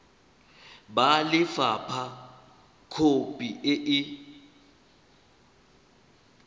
ba lefapha khopi e e